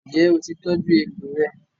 Ǹjẹ́ o ti tọ́jú egbò rẹ?